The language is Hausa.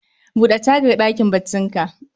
Bude tagar ɗakin baccin ka